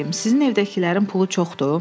Sizin evdəkilərin pulu çoxdur?